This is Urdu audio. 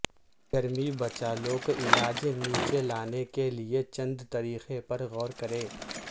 گرمی بچہ لوک علاج نیچے لانے کے لئے چند طریقے پر غور کریں